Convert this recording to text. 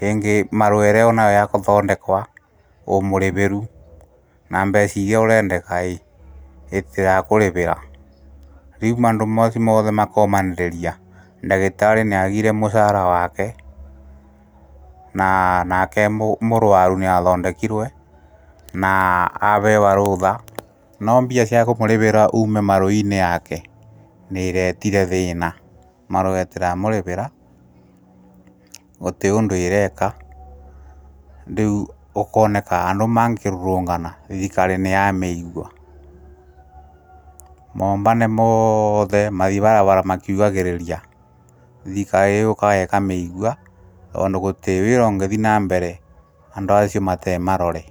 ,rĩngĩ marũa ĩrĩa ũnamo ya kũthondekwa ũmũrĩvĩru, na mbeca iria ũrendekaĩĩ ĩtĩrakũrĩvĩra, rĩu maũndũ macio mothe makomenderia ndagĩtarĩ nĩagire mũcaara wake nake mũrwaru nĩathondekirwe na aavewa rũũtha no mbia cia kũmũrĩvira uume marũinĩ yake nĩĩretire thĩĩna marũetira mũrĩvĩra gũrirĩ ũndũ ĩreeka, rĩu ũkoneka andũ mangĩrũrũngana thirikari nĩyameigua, moombane moothe mathi bara makiugagĩrĩria, thirikari yũũkaga ĩkameigua, tondũ gũtĩ wĩra ũngĩthiĩ na mbere andũ acio matee marore....